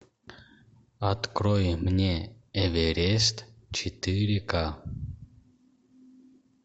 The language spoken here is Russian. открой мне эверест четыре ка